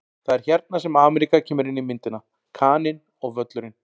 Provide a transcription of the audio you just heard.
Það er hérna sem Ameríka kemur inn í myndina: Kaninn og Völlurinn.